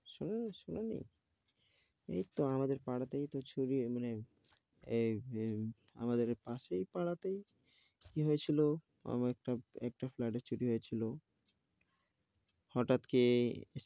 শোনো নি শোনো নি, এই তো আমাদের পাড়াতেই তো চুরি মানে ইয়ে, এই আমাদের পাশের পাড়াতেই কি হয়েছিল, আমার একটা একটা ফ্ল্যাটে এ চুরি হয়েছিল। হঠাৎ কে,